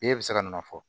E bɛ se ka na o fɔ